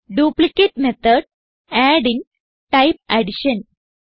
duplicate method add in type addition